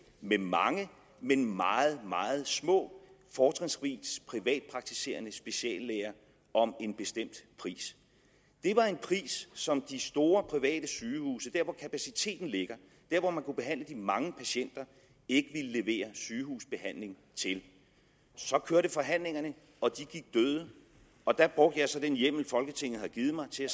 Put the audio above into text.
med mange men meget meget små fortrinsvis privatpraktiserende speciallæger om en bestemt pris det var en pris som de store private sygehuse der hvor kapaciteten ligger der hvor man kunne behandle de mange patienter ikke ville levere sygehusbehandling til så kørte forhandlingerne og de gik døde og der brugte jeg så den hjemmel folketinget har givet mig til at